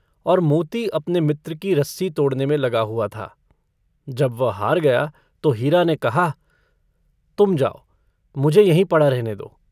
और मोती अपने मित्र की रस्सी तोड़ने में लगा हुआ था। जब वह हार गया तो हीरा ने कहा - तुम जाओ, मुझे यहीं पड़ा रहने दो।